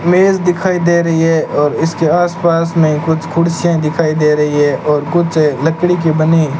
मेज दिखाई दे रही है और इसके आस पास में कुछ कुर्सियां दिखाई दे रही है और कुछ लकड़ी की बनी --